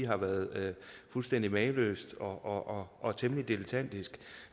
har været fuldstændig mageløs og og temmelig dilettantisk